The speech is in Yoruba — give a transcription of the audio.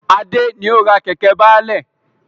Adé ni ó ra Kẹ̀kẹ́ baálẹ̀